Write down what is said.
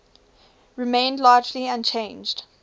remained largely unchanged